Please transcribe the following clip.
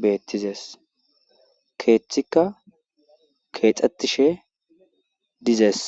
beettizes keethika keexettishe dizees.